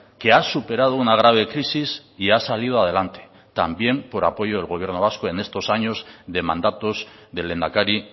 que ha superado una grave crisis y ha salido adelante también por apoyo del gobierno vasco en estos años de mandatos del lehendakari